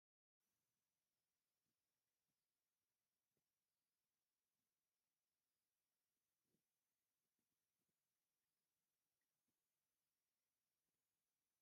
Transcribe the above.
ኣብ ኣክሱም ዝርከብ ቴሌ መስራቤት እንትከውን፣ ሰባት ንዝተፈላለዩ ግልጋሎት ከም ሲም ፣ ድጅታል መስታወቅያን ካልኦትን ንምርካብ ተራ ሒዞም እንዳተፀበዩ እዮም።